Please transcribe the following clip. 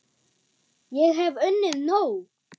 Ég hef unnið nóg!